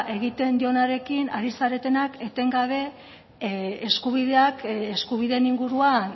egiten dionarekin ari zaretenak etengabe eskubideak eskubideen inguruan